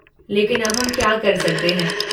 लेकिन अब हम क्या कर सकते हैं?